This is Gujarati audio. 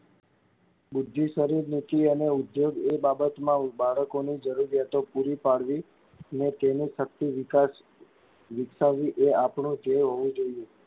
બુદ્ધિ, શરીર, નીતિ અને ઉધોગ એ બાબતમાં બાળકોની જરૂરિયાતો પૂરી પાડવી ને તેની શક્તિ વિકસાવવી એ આપણો દ્ધેય હોવો જોઇયે.